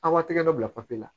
Aw b'a tɛgɛ dɔ bila papi la